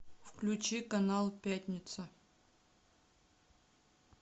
включи канал пятница